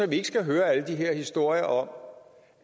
vi ikke skal høre alle de her historier om